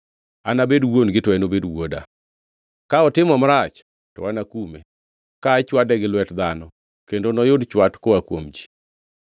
Anabed wuon-gi to enobed wuoda. Ka otimo marach, to anakume, ka achwade gi lwet dhano kendo noyud chwat koa kuom ji.